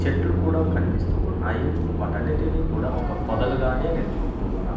చెట్లు కూడా కనిపిస్తూ ఉన్నాయి వాటన్నిటిని కూడా ఒక పొదలుగానే నేను చూస్తూ ఉన్నాను.